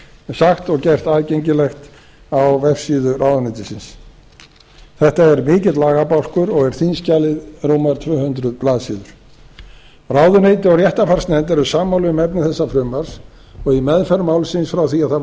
sagt og gert aðgengilegt á vefsíðu ráðuneytisins þetta er mikil lagabálkur og er þingskjalið rúmar tvö hundruð blaðsíður ráðuneyti og réttarfarsnefnd eru sammála um efni þessa frumvarps og í meðferð málsins frá því að það